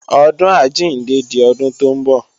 ọdun àjíǹde di ọdún tó ń bọ̀